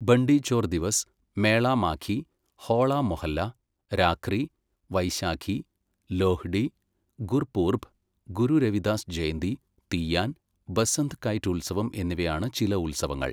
ബണ്ടി Chhor Divas, Mela Maghi, Hola Mohalla, Rakhri, Vaisakhi, Lohri, Gurpurab, Guru Ravidas Jayanti, Teeyan, Basant kite ഉത്സവം എന്നിവയാണ് ചില ഉത്സവങ്ങൾ.